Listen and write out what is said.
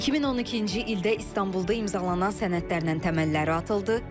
2012-ci ildə İstanbulda imzalanan sənədlərlə təməlləri atıldı.